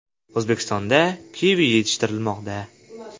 O‘zbekistonda kivi yetishtirilmoqda.